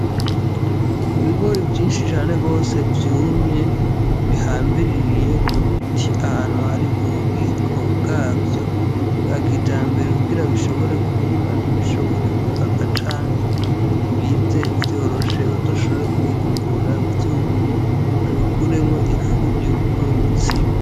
Ibigori vyinshi cane gose vyumye bihambiririye ku biti ahantu hari ububiko bwavyo bwa kijambere kugira bushobore kuma ntibishobore gukaka canke bize vyoroshe bazoshobore kubihungurura vyumye babikuremwo ifu yo gukora umutsima.